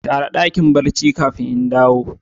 Share dakin barci kafin in dawo.